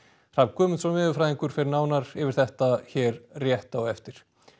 Hrafn Guðmundsson veðurfræðingur fer nánar yfir þetta hér rétt á eftir